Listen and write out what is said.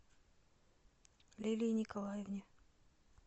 лилии николаевне